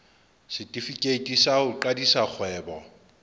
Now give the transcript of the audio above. setefikeiti sa ho qadisa kgwebo